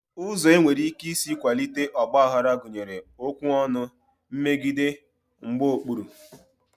Ụzọ e nwere ike isi kwalite ọgbaghara gụnyere okwu ọnụ, mmegide, mgbaokpuru